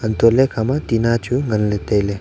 hantole ikhama tina chu nganley tailey.